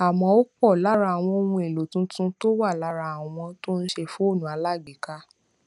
àmó òpò lára àwọn ohun èlò tuntun tó wà lára àwọn tó ń ṣe fóònù alágbèéká